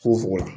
Fogofogo la